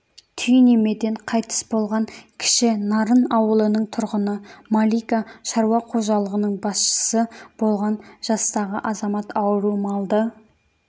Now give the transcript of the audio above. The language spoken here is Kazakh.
түйнемеден қайтыс болған кіші нарын ауылының тұрғыны малика шаруа қожалығының басшысы болған жастағы азамат ауру малды